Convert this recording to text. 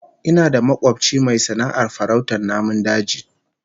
Ina da makobci mai sana'ar farautar namun daji